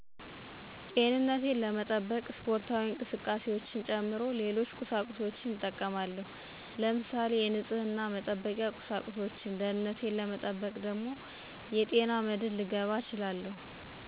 ጤንንቴን ለመጠበቅ ስፖርታዊ እቅስቃሴዎች ጨምሮ ሌሎች ቁሳቁሶችን እጠቀማለሁ ለምሳሌ የንፀህነ መጠበቃ ቁሳቁሶችን፣ ደገንንቴን ለመጠበቅ ደግሞ የጤና መድን ልገባ እችላለሁ።